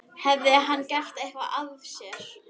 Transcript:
Hafði hann gert eitthvað af sér?